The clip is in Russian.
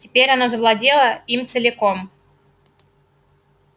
теперь она завладела им целиком